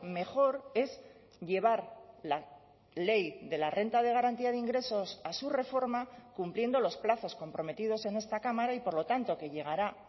mejor es llevar la ley de la renta de garantía de ingresos a su reforma cumpliendo los plazos comprometidos en esta cámara y por lo tanto que llegará